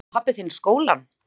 Kláraði pabbi þinn skólann?